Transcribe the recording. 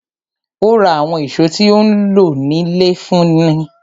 Ó ra àwọn ìṣó tí ó nílò fún ilé náà.